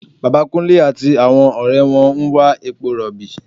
Bàbá Kúnlé àti àwọn ọ̀rẹ́ wọn ń wa epo rọ̀bì